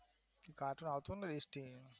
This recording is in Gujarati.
નાના હતા એટલે